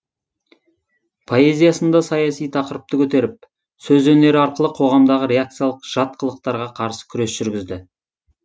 поэзиясында саяси тақырыпты көтеріп сөз өнері арқылы қоғамдағы реакциялық жат қылықтарға қарсы күрес жүргізді